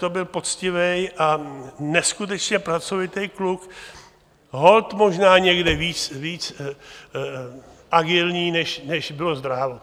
To byl poctivý a neskutečně pracovitý kluk, holt možná někde víc agilní, než bylo zdrávo.